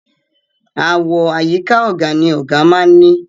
Àwo àyíká ọ̀gà ni ọ̀gà máa ń ní.